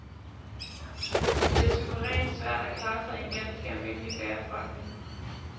Det er suverænt svært at klare sig i en ganske almindelig bagerforretning.